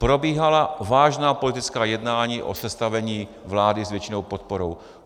Probíhala vážná politická jednání o sestavení vlády s většinovou podporou.